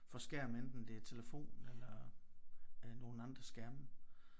For skærm enten det er telefon eller øh nogle andre skærme